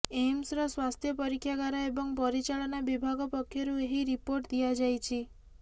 ଏମ୍ସର ସ୍ୱାସ୍ଥ୍ୟ ପରୀକ୍ଷାଗାର ଏବଂ ପରିଚାଳନା ବିଭାଗ ପକ୍ଷରୁ ଏହି ରିପୋର୍ଟ ଦିଆଯାଇଛି